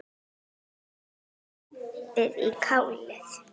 Ekki sopið í kálið.